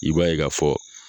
I b'a ye k'a fɔ.